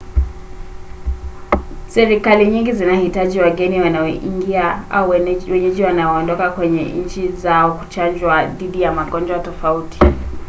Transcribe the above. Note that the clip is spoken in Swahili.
serikali nyingi zinahitaji wageni wanaoingia au wenyeji wanaoondoka kwenye nchi zao kuchanjwa dhidi ya magonjwa tofauti